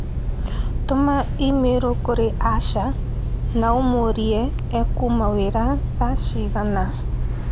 Tũma i-mīrū kũrĩ Asha na ũmũũrie ekuma wĩra thaa cigana